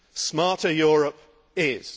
smarter Europe is.